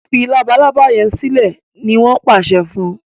fí Labalábá yén silẹ! ní wón pàṣẹ fún.